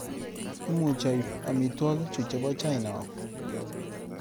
Imuchi aip amitwagik chuchebo china au?